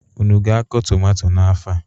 Unu ga-akọ tụmato n'afọ a?